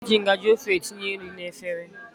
E ji ngajị ofe etinye nri n'efere.